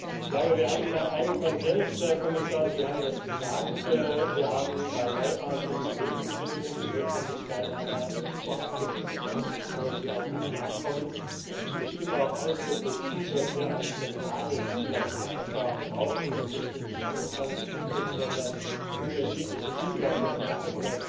Herr Kommissar, ich glaube, Sie haben gesagt, wir haben einen Konsens. Wir haben bei neuartigen Lebensmitteln die Notwendigkeit einer Vorabgenehmigung, bevor sie auf den Markt kommen, und ich stimme auch ausdrücklich zu, dass wir ein zentrales Zulassungsverfahren brauchen, und nicht in 27 Mitgliedstaaten unterschiedliche Zulassungen machen.